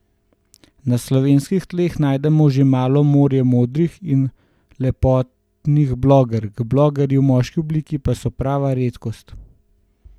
Na slovenskih tleh najdemo že malo morje modnih in lepotnih blogerk, blogerji v moški obliki pa so prava redkost.